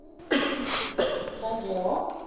tanjewo